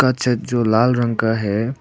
छत जो लाल रंग का है।